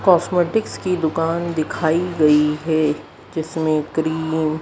cosmetic की दुकान दिखाई गई है जिसमें क्रीम --